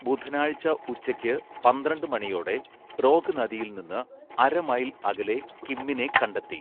ബുധനാഴ്ച ഉച്ചയ്ക്ക് പന്ത്രണ്ട് മണിയോടെ റോഗ് നദിയിൽ നിന്ന് അര മൈൽ അകലെ കിമ്മിനെ കണ്ടെത്തി.